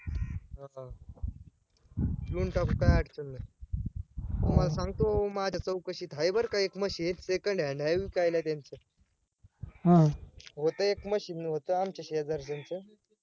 घेऊन टाकू काय अडचण नाय तुम्हाला सांगतो माझ्या चौकशीत आहे बरं का एक machine second hand आहे विकायला त्यांच्यात होतं एक machine होतं आमच्या शेजारच्यांच